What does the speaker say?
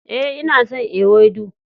Eh, nna son ewedu.